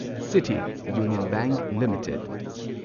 city union bank limited